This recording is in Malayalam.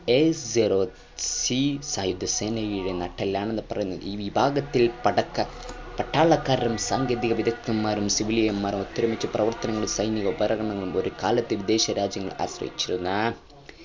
AOC സായുധ സേനയുടെ നട്ടെല്ലാണെന്ന് പറയാം ഈ വിഭാഗത്തി പട്ടാളക്കാരും സാങ്കേതിക വിദഗ്ദ്ധന്മാരും civilian മാരും ഒത്തൊരുമിച്ചു പ്രവർത്തികുന്നു സൈനിക ഉപകാരങ്ങൾക്കായി ഒരുക്കലാണ് വിദേശ രാജ്യങ്ങളെ ആശ്രയിച്ചിരുന്ന